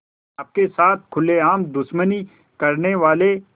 आपके साथ खुलेआम दुश्मनी करने वाले